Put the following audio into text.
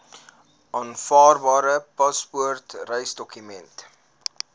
aanvaarbare paspoort reisdokument